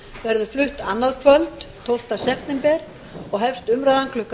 verður flutt annað kvöld tólfta september og hefst umræðan klukkan